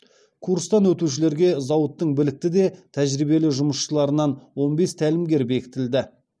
курстан өтушілерге зауыттың білікті де тәжірибелі жұмысшыларынан он бес тәлімгер бекітілді